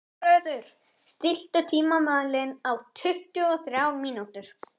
Húnröður, stilltu tímamælinn á tuttugu og þrjár mínútur.